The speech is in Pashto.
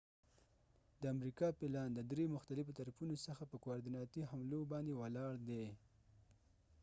د امریکا پلان د دری مختلفو طرفونو څخه په کواریدیناتی حملو باندی ولاړ دی